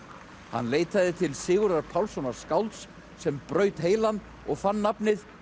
hann leitaði til Sigurðar Pálssonar skálds sem braut heilann og fann nafnið